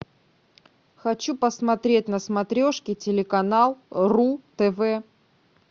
хочу посмотреть на смотрешке телеканал ру тв